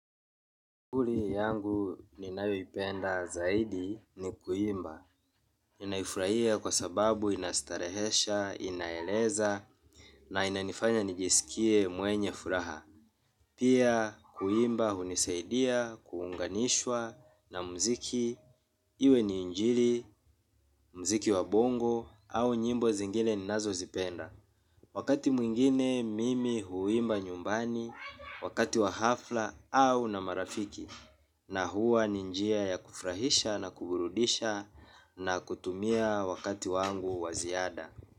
Kuli yangu ninayoipenda zaidi ni kuimba. Ninaifraia kwa sababu inastarehesha, inaeleza, na inanifanya nijisikie mwenye furaha. Pia kuimba hunisaidia, kuunganishwa na mziki, iwe ni injili, mziki wa bongo, au nyimbo zingine ninazo zipenda. Wakati mwingine mimi huimba nyumbani, wakati wa hafla au na marafiki. Na huwa ni njia ya kufrahisha na kuburudisha na kutumia wakati wangu wa ziada.